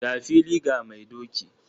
Ga fili ga mai doki!